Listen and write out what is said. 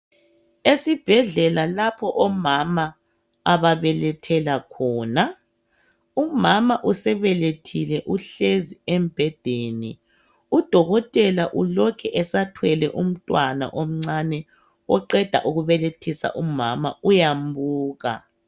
Esibhedlela lapho omama ababelethela khona. Umama usebelethile uhlezi embhedeni udokotela ulokhe esathwele umntwana omncane oqeda ukubelethisa umama uyambuka